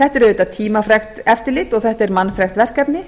þetta er auðvitað tímafrekt eftirlit og þetta er mannfrekt verkefni